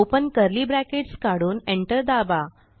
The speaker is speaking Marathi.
ओपन कर्ली bracketकाढून एंटर दाबा